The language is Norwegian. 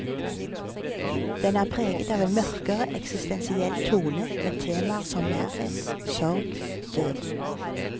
Den er preget av en mørkere, eksistensiell tone, med temaer som nærhet, sorg, død.